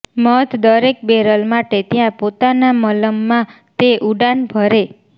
મધ દરેક બેરલ માટે ત્યાં પોતાના મલમ માં તે ઉડાન ભરે